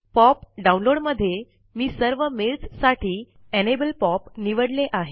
pop download मध्ये मी सर्व मेल्स साठी एनेबल पॉप निवडले आहे